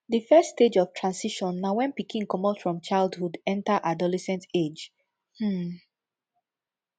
di first stage of transition na when pikin comot from childhood enter adolescent age um